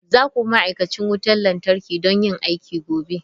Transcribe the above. Za ku bi ma'aikacin wutar lantarki don yin aiki gobe!